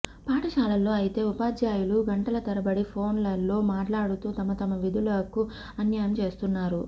పాఠశాలల్లో అయితే ఉపాధ్యాయులు గంటల తరబడి ఫోన్లలో మాట్లాడుతూ తమతమ విధులకు అన్యాయం చేస్తున్నారు